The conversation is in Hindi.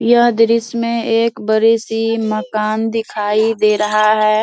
यह दृश्य में एक बड़ी सी मकान दिखाई दे रहा है ।